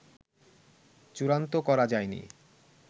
চুড়ান্ত করা যায়নি